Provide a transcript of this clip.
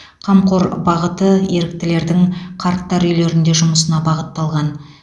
қамқор бағыты еріктілердің қарттар үйлерінде жұмысына бағытталған